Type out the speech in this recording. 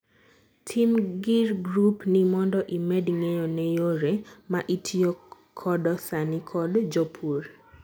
tim gir grup ni mondo imed ng'eyo ne yore ma itiyo kodo sani kod jopur